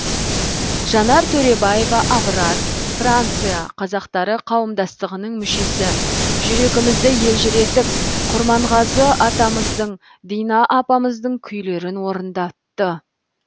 жанар төребаева аврад франция қазақтары қауымдастығының мүшесі жүрегімізді елжіретіп құрманғазы атамыздың дина апамыздың күйлерін орындатты